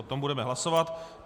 O tom budeme hlasovat.